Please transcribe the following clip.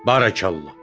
Barakallah!